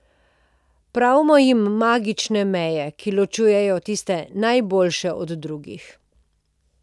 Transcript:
Pravimo jim magične meje, ki ločujejo tiste najboljše od drugih.